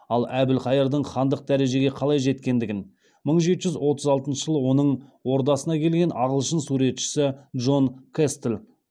ал әбілқайырдың хандық дәрежеге қалай жеткендігін мың жеті жүз отыз алтыншы жылы оның ордасына келген ағылшын суретшісі джон кэстл былайша түйіндейді